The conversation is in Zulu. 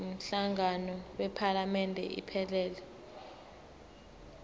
umhlangano wephalamende iphelele